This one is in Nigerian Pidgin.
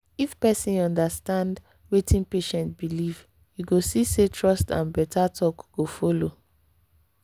if person understand wetin patient believe you see say trust and better talk go follow.